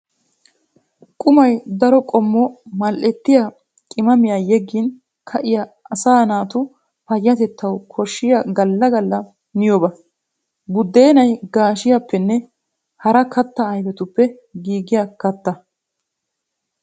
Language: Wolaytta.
Qummay daro qommo mali'ettiya qimaamiya yeggin ka'iya asaa naatu payatettawu koshiya gala gala miyoba. Buddeenay gaashshiyappenne hara katta ayfetppe giigiya katta.